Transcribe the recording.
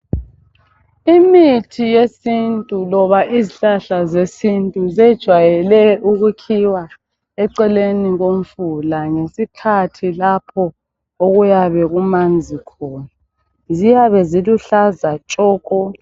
Imithi yesintu loba izihlahla zesintu zejwayele ukukhiwa eceleni komfula ngesikhathi lapho okuyabe kumanzi khona. Ziyabe ziluhlaza tshoko.